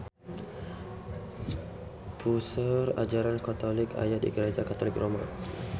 Puseur ajaran katolik aya di Gareja Katolik Roma